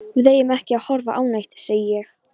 Við eigum ekki að horfa á neitt, segi ég.